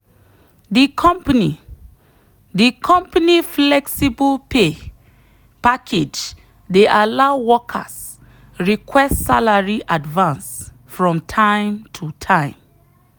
the company the company flexible pay package dey allow workers request salary advance from time to time.